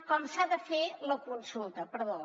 com s’ha de fer la consulta perdó